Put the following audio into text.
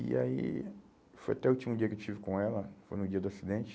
E aí foi até o último dia que eu estive com ela, foi no dia do acidente.